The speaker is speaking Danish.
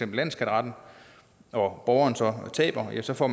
landsskatteretten og borgeren så taber ja så får